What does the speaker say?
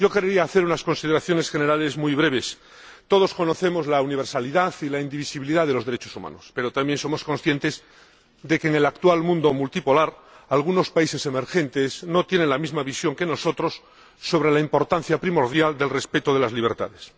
Yo querría hacer unas consideraciones generales muy breves. Todos conocemos la universalidad y la indivisibilidad de los derechos humanos, pero también somos conscientes de que en el actual mundo multipolar algunos países emergentes no tienen la misma visión que nosotros sobre la importancia primordial del respeto de las libertades.